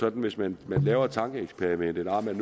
at hvis man laver et tankeeksperiment om at